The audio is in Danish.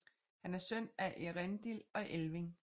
Han er søn af Eärendil og Elwing